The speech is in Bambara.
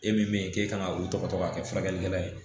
E min ye k'e kan ka u tɔgɔ ka kɛ furakɛlikɛla ye